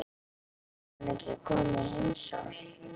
Fer hún ekki að koma í heimsókn?